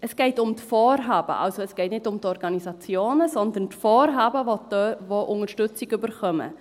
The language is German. Es geht um das Vorhaben, also es geht nicht um die Organisationen, sondern um die Vorhaben, die Unterstützung bekommen.